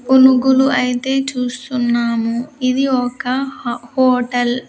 పునుగులు అయితే చూస్తున్నాము ఇది ఒక హ హోటల్ .